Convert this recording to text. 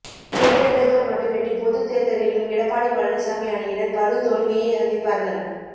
இடைத்தேர்தல்கள் மட்டுமின்றி பொதுத் தேர்தலிலும் எடப்பாடி பழனிசாமி அணியினர் படுதோல்வியை சந்திப்பார்கள்